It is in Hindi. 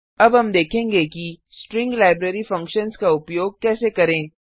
अब हम देखेंगे कि स्ट्रिंग लाइब्रेरी फंक्शन्स का उपयोग कैसे करें